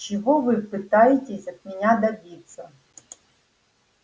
чего вы пытаетесь от меня добиться